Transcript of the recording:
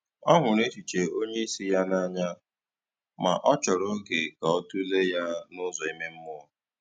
Ọ hụrụ echiche onye isi ya n’anya, ma ọ chòrò oge ka ọ tụlee ya n’ụzọ ime mmụọ.